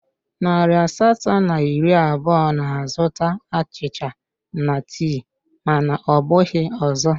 Narị asatọ na iri abụọ na-azụta achịcha na tii mana ọ bụghị ọzọ